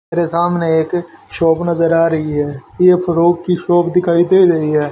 मेरे सामने एक शॉप नजर आ रही है ये फ्रॉक की शॉप दिखाई दे रही है।